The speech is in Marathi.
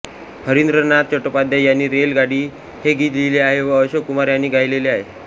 हरिंद्रनाथ चट्टोपाध्याय यांनी रेल गाडी हे गीत लिहिले आहे व अशोक कुमार यांनी गायलेले आहे